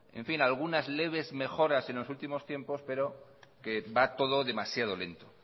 algunas leves mejoras en los últimos tiempos pero que va todo demasiado lento